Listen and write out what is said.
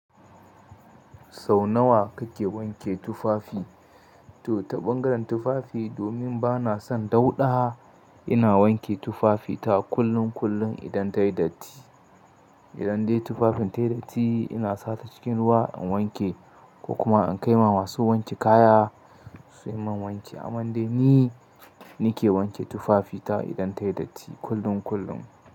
Sau nawa kake wanke tufafi? Toh ta bangaren tufafi domin bana son dauna ina wanke tufafi na kullum kullum idan ta yi dati idan dai tufafin ta yi datti ina sa ta cikin ruwa in wanke ko kuma in kai ma masu wanke kaya su yi min wanki. Amman dai ni, nake wanke tufafi ta idan ta yi datti kullum kullum.